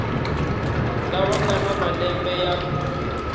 lava nga na malembe ya